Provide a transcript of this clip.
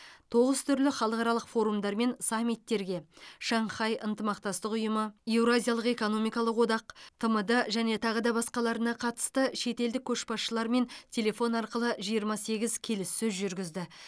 тоғыз түрлі халықаралық форумдар мен саммиттерге шанхай ынтымақтастық ұйымы еуразиялық экономикалық одақ тмд және тағы да басқаларына қатысты шетелдік көшбасшылармен телефон арқылы жиырма сегіз келіссөз жүргізді